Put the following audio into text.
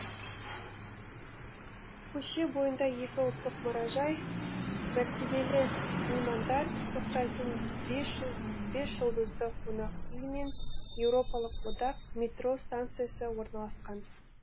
көше бойында екі ұлттық мұражай мәртебелі меймандар тоқтайтын бес жұлдызды қонақ үй мен еуропалық одақ метро станциясы орналасқан